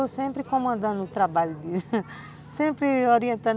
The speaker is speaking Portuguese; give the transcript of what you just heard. Eu sempre comandando o trabalho, sempre orientando.